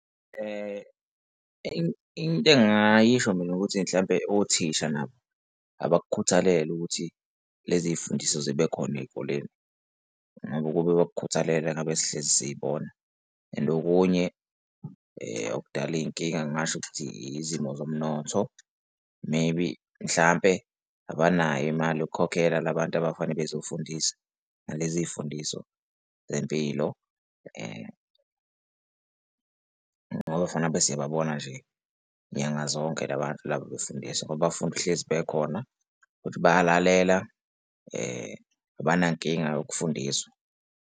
Into engingayisho mina ukuthi mhlawumpe othisha nabo abakukhuthalele ukuthi lezi zifundiso zibe khona ey'koleni ngoba ukube bakhuthalele ngabe sihlezi siy'bona. And okunye okudala iy'nkinga ngingasho ukuthi izimo zomnotho maybe mhlampe abanayo imali yokukhokhela la bantu abafanele bazofundisa ngalezi y'fundiso zempilo ngoba kufane ngabe siyababona nje nyanga zonke la bantu laba befundiswa ngoba bafuna uhlezi bekhona futhi bayalalela abanankinga yokufundiswa.